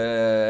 é